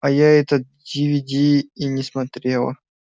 а я этот дивиди и не смотрела